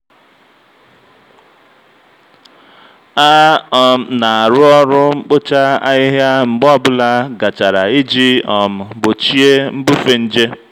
a um na-arụ ọrụ mkpocha ahịhịa mgbe ọ bụla gachara iji um gbochie mbufe nje.